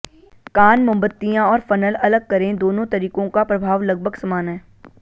कान मोमबत्तियाँ और फ़नल अलग करें दोनों तरीकों का प्रभाव लगभग समान है